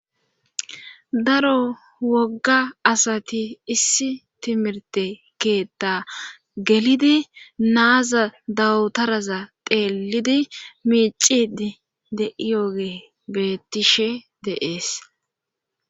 Daro wogga asati issi timirte keetta gelidi naaza dawutaraza teelidi miicid de7iyooge bettishe deees